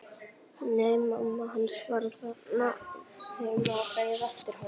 Nei, mamma hans var þarna heima og beið eftir honum.